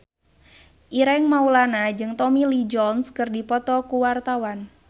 Ireng Maulana jeung Tommy Lee Jones keur dipoto ku wartawan